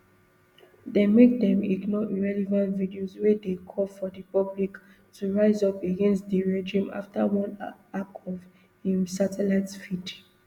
dem make dem ignore irrelevant videos wey dey call for di public to rise up against di regime afta one hack of im satellite feed